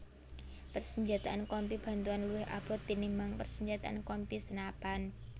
Persenjataan Kompi Bantuan luwih abot tinimbang persenjataan Kompi senapan